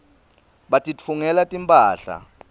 batitfungela timphahla